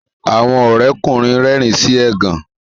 Àwọn Ore ọkùnrin rérìn sí ẹgàn.